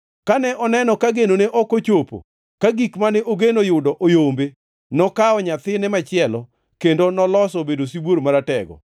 “ ‘Kane oneno ka genone ok ochopo, ka gik mane ogeno yudo oyombe, nokawo nyathine machielo, kendo nolose obedo sibuor maratego.